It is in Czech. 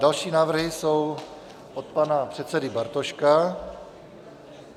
Další návrhy jsou od pana předsedy Bartoška.